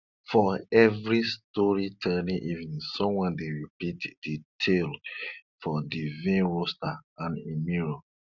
for every storytelling evening someone dey repeat de tale of de vain rooster and im mirror